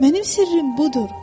Mənim sirrim budur.